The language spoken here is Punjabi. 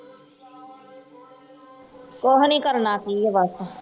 ਕੁਛ ਨਹੀ ਕਰਨਾ ਕੀ ਐ ਬਸ